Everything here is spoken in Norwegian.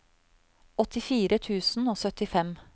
åttifire tusen og syttifem